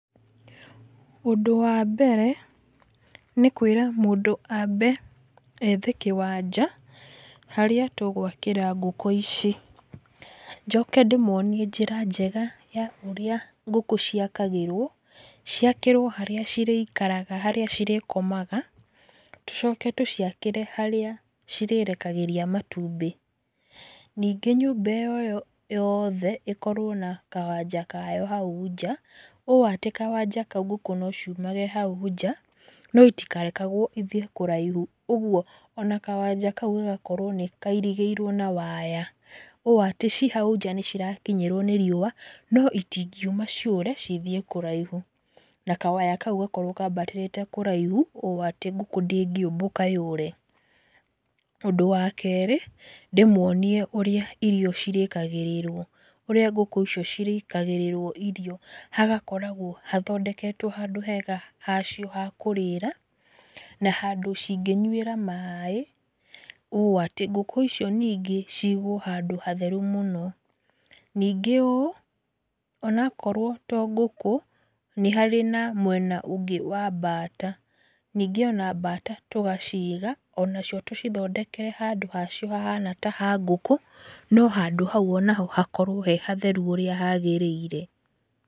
Ũndũ wa mbere nĩ kwĩra mũndũ ambe ethe kĩwanja harĩa tũgwakĩra ngũkũ ici. Njoke ndĩmuonie njĩra njega ya ũrĩa ngũkũ ciakagĩrwo. Ciakĩrwo harĩa cirĩikaraga harĩa cirĩkomaga, tucoke tũciakĩre harĩa cirĩrekagĩria matumbĩ. Ningĩ nyũmba ĩyo yothe ĩkorwo na kawanja kayo hau nja, ũũ atĩ kawanja kau ngũkũ no ciumage hau nja no itikarekagwo ithiĩ kũraihu. Ũguo ona kawanja kau gagakorwo nĩ kairigĩirwo na waya ũũ atĩ ci hau nja nĩ cirakinyĩrwo nĩ riũa no itingiuma ciũre ithiĩ kũraihu. Na kawaya kau gakorwo kaambatĩrĩte kũraihu ũũ atĩ ngũkũ ndĩngĩũmbũka yũre. Ũndũ wa kerĩ, ndĩmuonie ũrĩa irio cirĩkagĩrĩrwo ũrĩa ngũkũ icio cirĩkagĩrĩrwo irio. Hagakoragwo hathondeketwo handũ hega hacio ha kũrĩĩra na handũ cingĩnyuĩra maĩ, ũũ atĩ ngũkũ icio ningĩ cigwo handũ hatheru mũno. Ningĩ ũũ, onakorwo to ngũkũ, nĩ harĩ na mwena ũngĩ wa mbata. Ningĩ ona mbata tũgaciiga onacio tũcithondekere handũ hacio hahana ta ha ngũkũ, no handũ hau onaho hakorwo he hatheru ũrĩa hagĩrĩire.